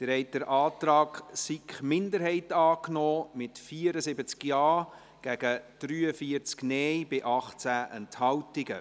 Sie haben den Antrag der SiK-Minderheit angenommen, mit 74 Ja- zu 43 Nein-Stimmen bei 18 Enthaltungen.